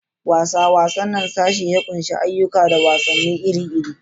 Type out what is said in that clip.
Wasa: Wannan sashe ya ƙunshi ayyuka da wasanni iri-iri.